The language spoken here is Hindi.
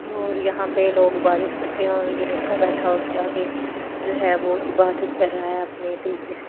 और यहाँ पे लोग इबादत करते हैं और ये लड़का बैठा उसके आगे जो है वो इबादत कर रहा है अपने तरीके से--